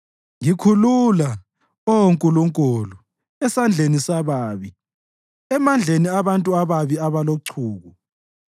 Ngikhulula, Oh Nkulunkulu, esandleni sababi, emandleni abantu ababi abalochuku.